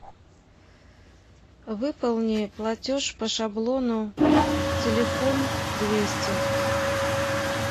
выполни платеж по шаблону телефон двести